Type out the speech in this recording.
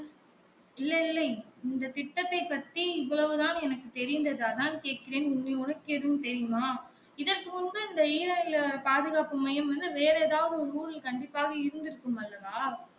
இல்லை இல்லை இந்த திட்டத்தை பத்தி இவ்வளவு தான் எனக்கு தெரிந்தது அதான் கேட்கிறேன் உனக்கு எதும் தெரியும்மா இதற்கு முன்பு இந்த ஈரநில பாதுகாப்பு மையம் வந்து வேற எதாவது ஊருல கண்டிப்பாக இருந்து இருக்கும் அல்லவா